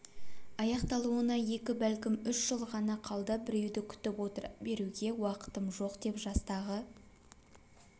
аяқталуына екі бәлкім үш жыл ғана қалды біреуді күтіп отыра беруге уақытым жоқ деп жастағы